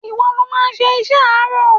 Ìwọ lo máa ṣe iṣẹ́ àárọ̀.!